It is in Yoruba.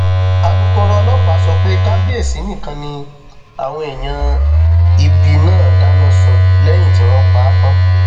alūkkóró ọlọpàá sọ pé kábíyèsí nìkan ni àwọn èèyàn ibi náà dáná sun lẹyìn tí wọn pa á tán